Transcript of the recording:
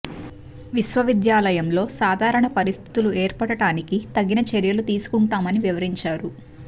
విశ్వవిద్యా లయంలో సాధారణ పరిస్థితులు ఏర్పడటానికి తగిన చర్యలు తీసుకుంటామని వివరించారు